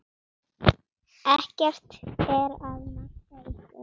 Ekkert er að marka ykkur.